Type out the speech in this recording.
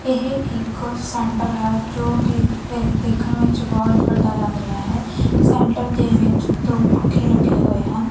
ਇਹ ਇਕ ਸੈਂਟਰ ਹੈ ਜੋ ਕਿ ਦੇਖਣ ਵਿੱਚ ਬਹੁਤ ਵੱਡਾ ਲੱਗ ਰਿਹਾ ਹੈ ਸੈਂਟਰ ਦੇ ਵਿੱਚ ਦੋ ਪੱਖੇ ਲੱਗੇ ਹੋਏ ਹਨ।